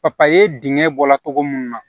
papaye dingɛ bɔla togo mun na